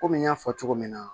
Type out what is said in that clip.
Kɔmi n y'a fɔ cogo min na